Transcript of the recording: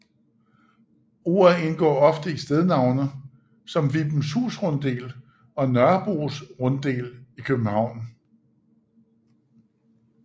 Ordet indgår ofte i stednavne som Vibenshus Runddel og Nørrebros Runddel i København